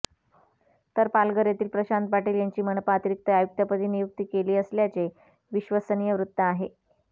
तर पालघर येथील प्रशांत पाटील यांची मनपा अतिरिक्त आयुक्तपदी नियुक्ती केली असल्याचे विश्वसनीय वृत्त आहे